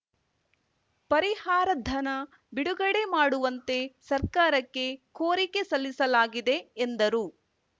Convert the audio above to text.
ಪರಿಹಾರಧನ ಬಿಡುಗಡೆ ಮಾಡುವಂತೆ ಸರ್ಕಾರಕ್ಕೆ ಕೋರಿಕೆ ಸಲ್ಲಿಸಲಾಗಿದೆ ಎಂದರು